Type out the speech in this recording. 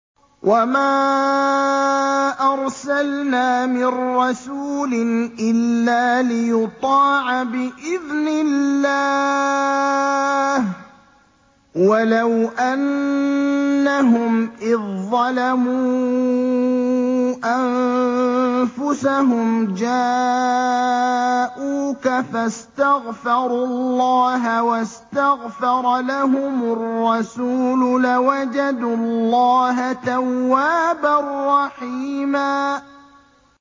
وَمَا أَرْسَلْنَا مِن رَّسُولٍ إِلَّا لِيُطَاعَ بِإِذْنِ اللَّهِ ۚ وَلَوْ أَنَّهُمْ إِذ ظَّلَمُوا أَنفُسَهُمْ جَاءُوكَ فَاسْتَغْفَرُوا اللَّهَ وَاسْتَغْفَرَ لَهُمُ الرَّسُولُ لَوَجَدُوا اللَّهَ تَوَّابًا رَّحِيمًا